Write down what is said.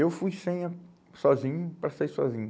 Eu fui sem a, sozinho para sair sozinho.